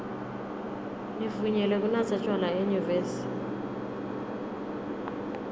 nivunyelwe kunatsa tjwala enyuvesi